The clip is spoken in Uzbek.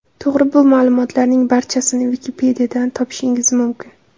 To‘g‘ri, bu ma’lumotlarning barchasini Wikipedia’dan topishingiz mumkin.